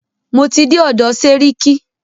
Mo ti dé ọ̀dọ̀ sẹ́ríkí.